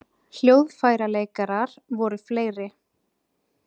Hljóðfæraleikarar voru fleiri